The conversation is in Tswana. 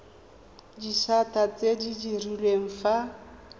disata tse di direlwang fa